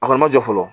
A kɔni ma jɔ fɔlɔ